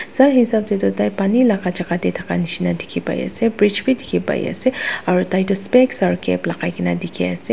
Sai hesab dae tuh tai pani laga jaka dae thaka neshina dekhe pai ase bridge bhi dekhe pai ase aro tai tuh specs aro cap lagaikena dekhe ase.